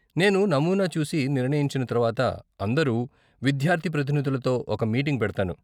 నేను నమూనా చూసి నిర్ణయించిన తర్వాత అందరు విద్యార్ధి ప్రతినిధులతో ఒక మీటింగ్ పెడతాను.